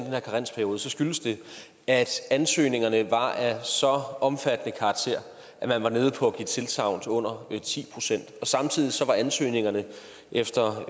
her karensperiode så skyldes det at ansøgningerne var af så omfattende karakter at man var nede på at give tilsagn til under ti procent samtidig var ansøgningerne efter